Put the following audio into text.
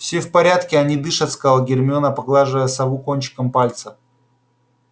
все в порядке они дышат сказала гермиона поглаживая сову кончиком пальца